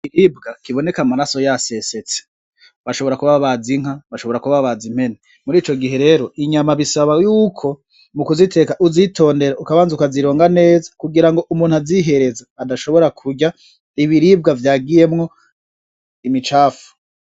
Ikiribwa kuboneka amaraso yasesetse bashobora kuba babaze inka , bashobora kuba babaze impene . Ico gihe rero inyama bisaba yuko mu kuziteka uzitondera ukabanza ukazironga neza kugira ngo azihereza adashobora kurya Ibiribwa vyagiyemwo imicafu.